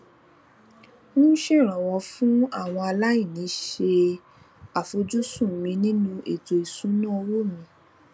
ń ṣèrànwó fún àwọn aláìní ṣe àfojúsùn mi nínú ètò ìṣúnná owó mi